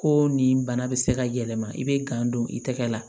Ko nin bana bɛ se ka yɛlɛma i bɛ gan don i tɛgɛ la